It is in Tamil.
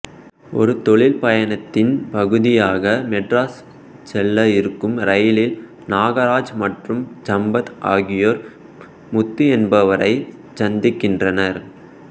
ஒரு தொழில் பயணத்தின் பகுதியாக மெட்ராஸ் செல்ல இருக்கும் ரயிலில் நாகராஜ் மற்றும் சம்பத் ஆகியோர் முத்து என்பவரை சந்திக்கின்றனர்